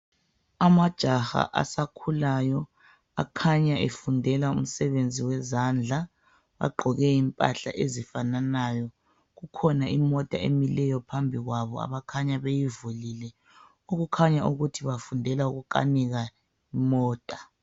Amajaha asakhulayo akhanya efundela umsebenzi wezandla. Agqoke impahla ezifananayo. Kukhona imota emileyo phambikwabo abakhanya beyivulile, okukhanya ukuthi bafundela ukukanika imota.